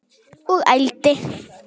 Og ældi.